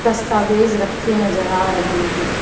दस्तावेज रखे नजर आ रहे हैं।